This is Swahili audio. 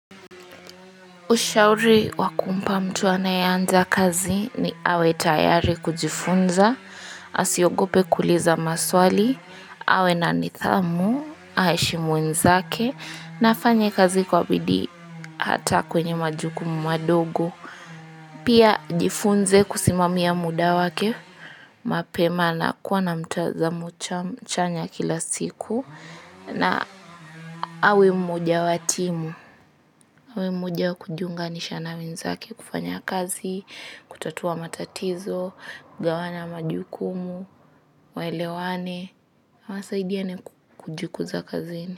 Ushauri wa kumpa mtu anayeanza kazi ni awe tayari kujifunza, asiogope kuuliza maswali, awe na nidhamu, aheshimu wenzake, na afanye kazi kwa bidii hata kwenye majukumu madogo. Pia jifunze kusimamia muda wake, mapema na kuwa na mtazamo chanya kila siku na awe mmoja wa timu. Awe mmoja wa kujiunganisha na wenzake kufanya kazi, kutatua matatizo, kugawanya majukumu, waelewane na wasaidiane kujikuza kazini.